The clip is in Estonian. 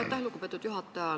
Aitäh, lugupeetud juhataja!